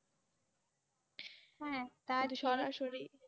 হ্যাঁ।